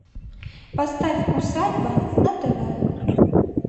поставь усадьба на тв